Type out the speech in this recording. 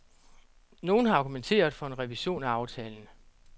Nogen har argumenteret for en revision af aftalen.